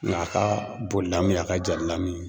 Nka a ka bon lamu ye, a ka ja ni lamu ye.